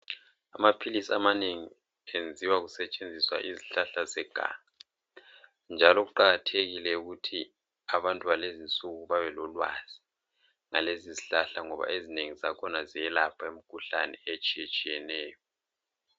Amaphilisi amanengi enziwa kusetshenziswa izihlahla zeganga. Njalo kuqakathekile ukuthi abantu balezinsuku babelolwazi ngalezi zihlahla ngoba ezinengi zakhona ziyelapha imikhuhlane etshiyetshiyeneyo.